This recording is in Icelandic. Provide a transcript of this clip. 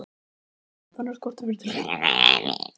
Gunnar, en þarna skorti tilfinnanlega mælingar.